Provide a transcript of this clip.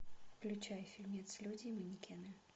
включай фильмец люди и манекены